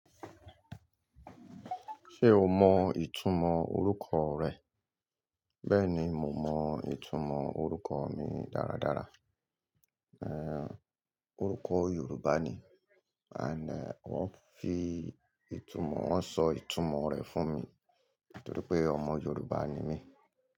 Ṣé o mọ ìtumọ̀ orúkọ rẹ? Bẹ́ẹ̀ni, mo mọ ìtumọ̀ orúkọ mi dáradára. Ẹ orúkọ Yorùbá ni, àná wón fi ìtumọ̀, wón sọ ìtumọ̀ rẹ̀ fún mi nítorí pé ọmọ Yorùbá ni mí.